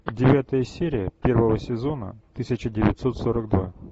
девятая серия первого сезона тысяча девятьсот сорок два